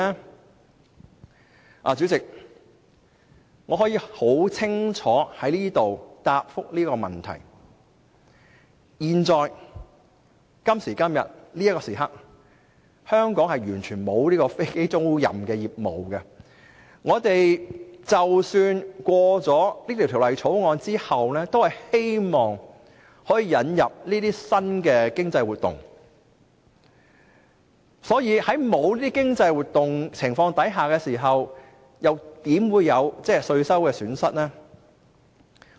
代理主席，我可以在這裏清楚回答這個問題，在此時刻，香港完全沒有飛機租賃業務，通過《條例草案》是希望可以引入這些新的經濟活動，所以，在沒有這些經濟活動的情況下，又怎會有稅收的損失呢？